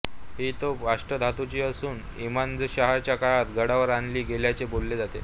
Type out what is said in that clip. ही तोफ अष्टधातूची असून इमादशहाच्या काळात गडावर आणली गेल्याचे बोलले जाते